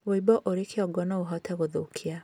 Wuimbo uri kĩongo nouhote guthukia